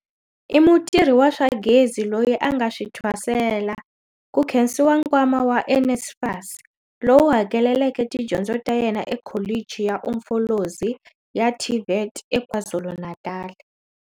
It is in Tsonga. I mutirhi wa swa gezi loyi a nga swi thwasela, ku khensiwa nkwama wa NSFAS, lowu hakeleleke tidyondzo ta yena eKholichi ya Umfolozi ya TVET eKwaZulu-Natal.